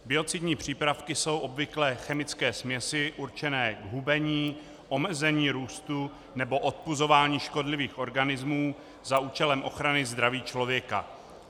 Biocidní přípravky jsou obvykle chemické směsi určené k hubení, omezení růstu nebo odpuzování škodlivých organismů za účelem ochrany zdraví člověka.